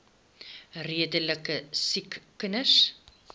redelike siek kinders